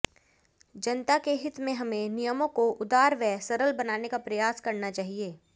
जनता के हित में हमें नियमों को उदार व सरल बनाने का प्रयास करना चाहिए